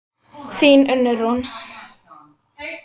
Þín Unnur Rún.